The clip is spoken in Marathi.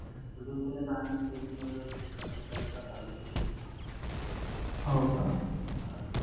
दुर्बिणीचा आणि दुर्बीना check करणारे हजार रुपये घेतो हा